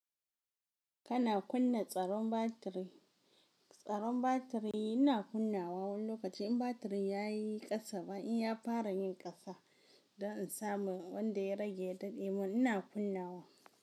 Kana kunna tsaron batiri, tsaron batiri ina kunnawa wani lokaci in batirin ya yi ƙasa ba in ya fara yin ƙasa don in samu wanda ya rage ya daɗe mun ina kunnawa.